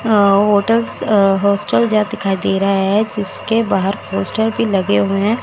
अ hotels hostel यह दिखाई दे रहा है जिसके बाहर पोस्टर भी लगे हुए हैं।